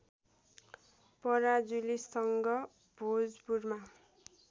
पराजुलीसँग भोजपुरमा